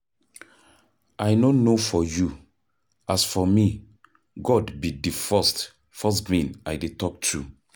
I no know for you, as for me God be the first first being I dey talk to.